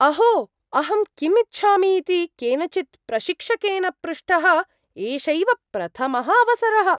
अहो! अहं किम् इच्छामि इति केनचित् प्रशिक्षकेन पृष्टः एषैव प्रथमः अवसरः।